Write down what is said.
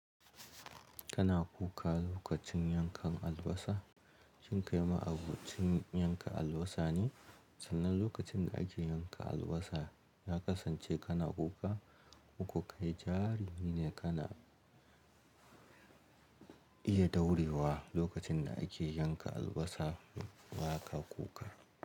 Kana kuka lokacin yankan albasa? Shin kai ma abocin yanka albasa ne? Sannan lokacin da ake yanka albasa ka kasance kana kuka. Koko kai jarimine ne kana iya daurewa lokacin da ake yanka albasa ba ka kuka.